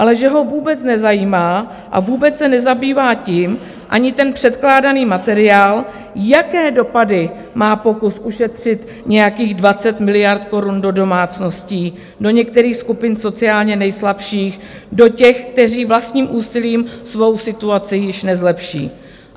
Ale že ho vůbec nezajímá a vůbec se nezabývá tím ani ten předkládaný materiál, jaké dopady má pokus ušetřit nějakých 20 miliard korun do domácností, do některých skupin sociálně nejslabších, do těch, kteří vlastním úsilím svou situaci již nezlepší.